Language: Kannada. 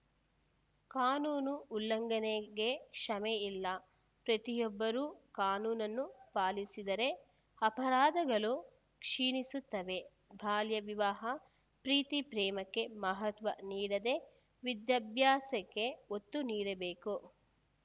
ಕಾನೂನು ಉಲ್ಲಂಘನೆಗೆ ಕ್ಷಮೆ ಇಲ್ಲ ಪ್ರತಿಯೊಬ್ಬರೂ ಕಾನೂನನ್ನು ಪಾಲಿಸಿದರೆ ಅಪರಾಧಗಳು ಕ್ಷೀಣಿಸುತ್ತವೆ ಬಾಲ್ಯ ವಿವಾಹ ಪ್ರೀತಿ ಪ್ರೇಮಕ್ಕೆ ಮಹತ್ವ ನೀಡದೇ ವಿದ್ಯಾಭ್ಯಾಸಕ್ಕೆ ಒತ್ತು ನೀಡಬೇಕು